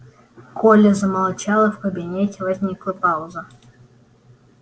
коля замолчал и в кабинете возникла пауза